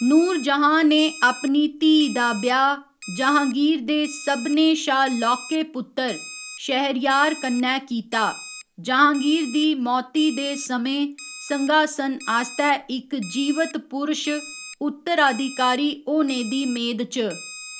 नूरजहाँ ने अपनी धीऽ दा ब्याह् जहाँगीर दे सभनें शा लौह्के पुत्तर शहरयार कन्नै कीता, जहाँगीर दी मौती दे समें संघासन आस्तै इक जीवत पुरश उत्तराधिकारी होने दी मेद च।